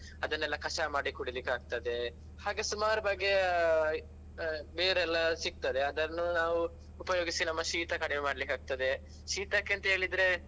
ಅದನ್ನೆಲ್ಲ ಕಷಾಯ ಮಾಡಿ ಕುಡಿಲಿಕ್ಕೆ ಆಗ್ತದೆ ಹಾಗೆ ಸುಮಾರ್ ಬಗೆಯ ಆ ಬೇರೆಲ್ಲ ಸಿಕ್ತದೆ ಅದನ್ನು ನಾವು ಉಪಯೋಗಿಸಿ ನಮ್ಮ ಶೀತ ಕಡಿಮೆ ಮಾಡ್ಲಿಕ್ಕೆ ಆಗ್ತದೆ ಶೀತಕ್ಕೆ ಅಂತೇಳಿದ್ರೆ.